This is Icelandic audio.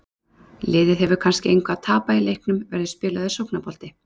Liðið hefur kannski engu að tapa í leiknum, verður spilaður sóknarbolti?